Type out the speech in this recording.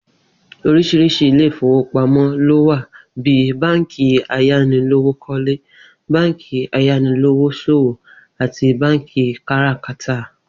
Orís̩iris̩i ilé ìfowópamó̩ ló wà bí i báǹkì ayánilówókó̩le, báǹkì ayanilówós̩òwò àti báǹkì káràkátà